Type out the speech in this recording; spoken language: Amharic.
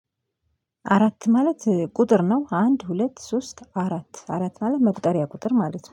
አራት ማለት ቁጥር ነው። አንድ ሁለት ሶስት አራት አራት ማለት መቁጠሪያ ቁጥር ማለት ነው